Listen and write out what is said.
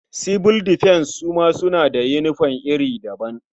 Sibil difens su ma suna da yinifom iri daban.